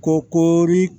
Ko koori